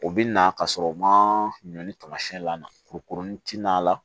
O bɛ na ka sɔrɔ u ma ɲɔ tamasiyɛn la kurukurunin tɛ na